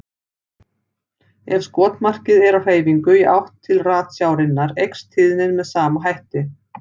Ef skotmarkið er á hreyfingu í átt til ratsjárinnar eykst tíðnin með sama hætti.